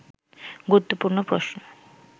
গুরুত্বপূর্ণ প্রশ্ন